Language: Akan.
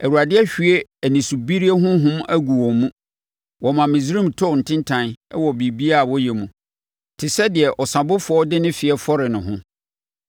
Awurade ahwie anisobirie honhom agu wɔn mu; wɔma Misraim tɔ ntintan wɔ biribiara a ɔyɛ mu, te sɛ deɛ ɔsabofoɔ de ne feɛ fɔre ne ho.